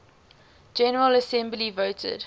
general assembly voted